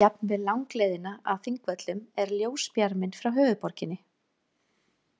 Jafnvel langleiðina að Þingvöllum er ljósbjarminn frá höfuðborginni.